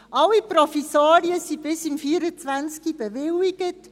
Alle Provisorien sind bis 2024 bewilligt.